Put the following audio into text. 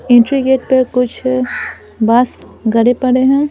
Entry gate पर कुछ बाँस गरे पड़े हैं।